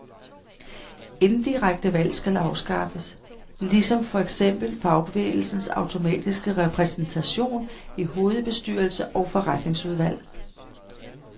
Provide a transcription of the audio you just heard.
Indirekte valg skal afskaffes, ligesom for eksempel fagbevægelsens automatiske repræsentation i hovedbestyrelse og forretningsudvalg.